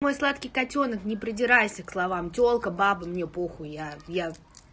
мой сладкий котёнок не придирайся к словам тёлка бабы мне похуй я пьян